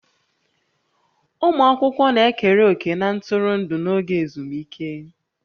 Ụmụ akwụkwọ na-ekere òkè na ntụrụndụ n'oge ezumike